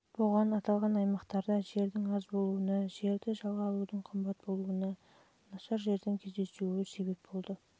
аталған аймақтарда жердің аз болуына жерді жалға алудың қымбат болуына нашар жердің кездесуіне себептерге және